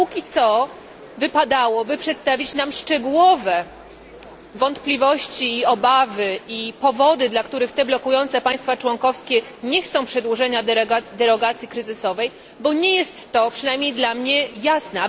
A póki co wypadałoby przedstawić nam szczegółowe wątpliwości, obawy i powody, dla których te blokujące państwa członkowskie nie chcą przedłużenia derogacji kryzysowej, bo nie jest to, przynajmniej dla mnie, jasne.